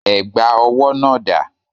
Ẹ̀gbà owó náà dà?